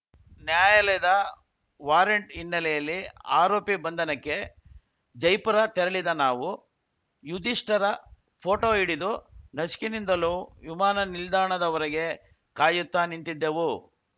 ನ್ಯಾಯಾಲಯದ ವಾರೆಂಟ್‌ ಹಿನ್ನೆಲೆಯಲ್ಲಿ ಆರೋಪಿ ಬಂಧನಕ್ಕೆ ಜೈಪುರ ತೆರಳಿದ ನಾವು ಯುದಿಷ್ಠರ ಪೋಟೋ ಹಿಡಿದು ನಸುಕಿನಿಂದಲೂ ವಿಮಾನ ನಿಲ್ದಾಣದ ಹೊರಗೆ ಕಾಯುತ್ತ ನಿಂತಿದ್ದೆವು